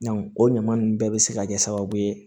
o ɲama ninnu bɛɛ bi se ka kɛ sababu ye